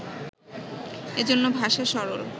এ জন্য ভাষা সরল